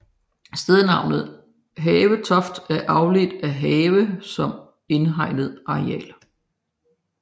Stednavnet Havetoft er afledt af have som indhegnet areal